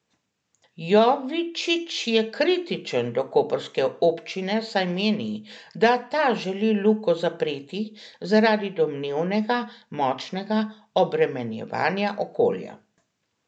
Jovičić je kritičen do koprske občine, saj meni, da ta želi Luko zapreti zaradi domnevnega močnega obremenjevanja okolja.